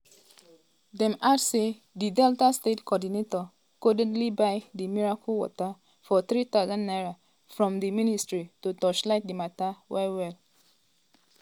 dem add say di delta state coordinator codedly buy di miracle water (25cl) for 3000 naira from di um ministry to um torchlight di mata well-well.